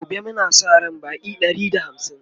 gobe Muna Sa ran Baƙi Ɗari da hamsin